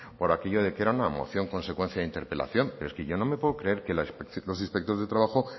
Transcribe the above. por aquello que era una moción consecuencia de interpelación pero es que yo no me puedo creer que los inspectores de trabajo